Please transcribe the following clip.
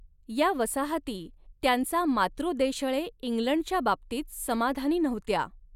या वसाहती त्यांचा मातृदेशळे इंग्लंडच्या बाबतीत समाधानी नव्हत्या.